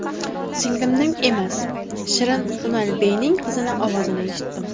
Singlimning emas, Shirin Unalbeyning qizining ovozini eshitdim.